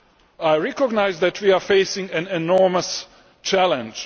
I recognise that we are facing an enormous challenge.